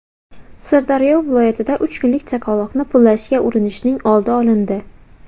Sirdaryo viloyatida uch kunlik chaqaloqni pullashga urinishning oldi olindi.